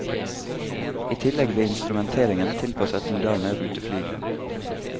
I tillegg ble instrumenteringen tilpasset moderne ruteflyging.